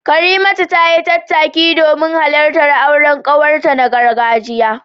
Karimatu tayi tattaki domin halartar auren kawarta na gargajiya.